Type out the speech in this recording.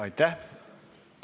Aitäh!